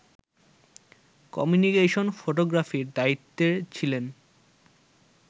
communication ফটোগ্রাফির দায়িত্বে ছিলেন